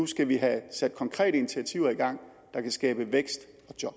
skal have sat konkrete initiativer i gang der kan skabe vækst